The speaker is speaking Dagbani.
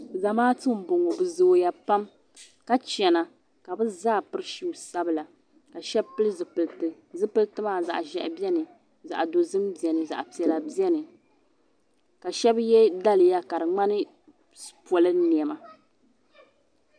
Zamaatu m boŋɔ bɛ zooya pam ka chena ka bɛ zaa piri shuu sabila ka Sheba pili zipilti zipilti maa zaɣa ʒehi biɛni zaɣa dozim biɛni zaɣa piɛlla biɛni ka shɛba ye daliya ka di ŋmani polin'niɛma.